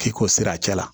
K'i ko sira cɛ la